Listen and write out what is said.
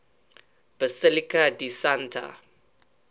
basilica di santa